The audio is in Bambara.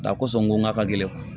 Nka kosɔn go ka gɛlɛn